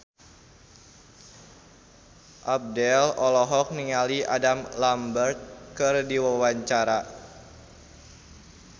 Abdel olohok ningali Adam Lambert keur diwawancara